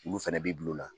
Olu fɛnɛ b'i bil'o la